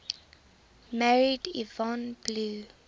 married yvonne blue